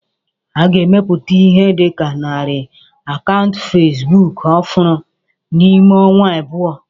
A ga-emepụta Ihe dị ka narị akaụntụ facebook ọhụrụ n'ime ọnwa abụọ